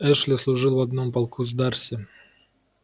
эшли служил в одном полку с дарси